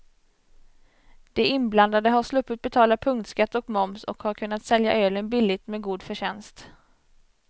De inblandade har sluppit betala punktskatt och moms och har kunnat sälja ölen billigt med god förtjänst.